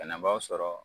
Banabaaw sɔrɔ